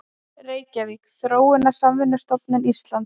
Reykjavík: Þróunarsamvinnustofnun Íslands.